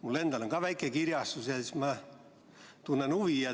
Mul on endal ka väike kirjastus ja seetõttu ma tunnen selle teema vastu huvi.